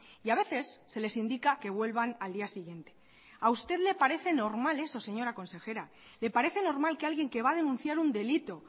y a veces se les indica que vuelvan al día siguiente a usted le parece normal eso señora consejera le parece normal que alguien que va a denunciar un delito